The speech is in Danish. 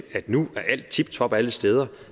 at nu er alt tiptop alle steder